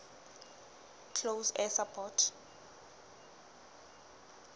close air support